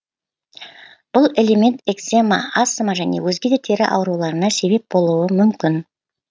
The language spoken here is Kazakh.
бұл элемент екзема астма және өзге де тері ауруларына себеп болуы мүмкін